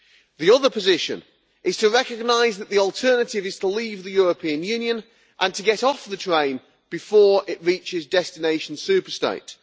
The other position is to recognise that the alternative is to leave the European Union and to get off the train before it reaches destination super state.